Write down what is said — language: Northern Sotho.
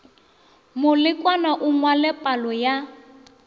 molekwa a ngwale palo ya